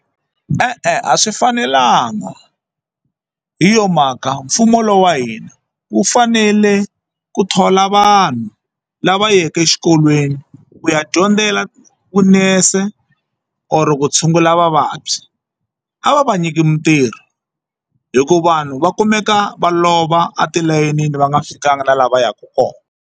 E-e a swi fanelanga hi yo mhaka mfumo lowa hina wu fanele ku thola vanhu lava yeke exikolweni ku ya dyondzela vunese or ku tshungula vavabyi a va va nyiki mitirho hikuva vanhu va kumeka va lova atilayenini va nga fikanga na la va yaka kona.